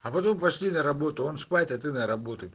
а потом пошли на работу он спать а ты на работу